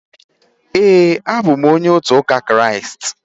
Éè, a bụ m onye ụka Kraịst